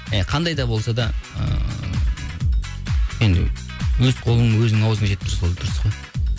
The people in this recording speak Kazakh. иә қандай да болса да ыыы енді өз қолың өзіңнің аузыңа жетіп тұрса сол дұрыс қой